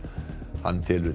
hann telur